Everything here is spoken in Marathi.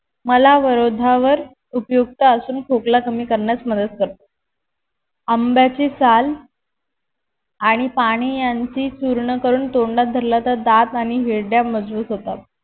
मलावरोधावर उपयुक्त असून खोकला कमी करण्यास मदत करते आंब्याची साल आणि पानी यांची चूर्ण करून तोंडात धरल तर दांत आणि हिरड्या मजबूत होतात